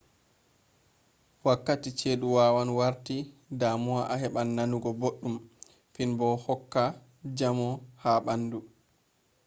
wakkati ceduwawan warta damuwa a haban nanugo boddum finbo do hokka jamo ha bandu